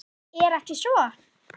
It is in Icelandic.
Er ekki svo?